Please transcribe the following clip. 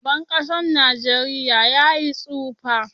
Shugaban kasan nageria ya yi tsufa.